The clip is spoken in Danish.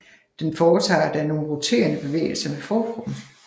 Den foretager da nogle roterende bevægelser med forkroppen